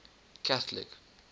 catholic